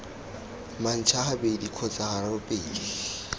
manxa gabedi kgotsa gararo pele